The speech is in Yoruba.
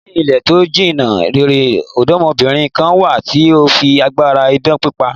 Ní ilẹ̀ to jìnna rere, ọ̀dọ́mọbìnrin kan wà tí ó fi agbára idán pípa.